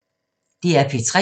DR P3